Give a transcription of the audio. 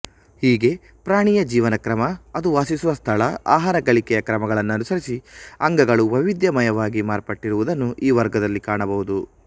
ಹೀಗೆ ಪ್ರಾಣಿಯ ಜೀವನಕ್ರಮ ಅದು ವಾಸಿಸುವ ಸ್ಥಳ ಆಹಾರ ಗಳಿಕೆಯ ಕ್ರಮಗಳನ್ನನುಸರಿಸಿ ಅಂಗಗಳು ವೈವಿಧ್ಯಮಯವಾಗಿ ಮಾರ್ಪಟ್ಟಿರುವುದನ್ನು ಈ ವರ್ಗದಲ್ಲಿ ಕಾಣಬಹುದು